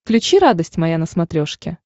включи радость моя на смотрешке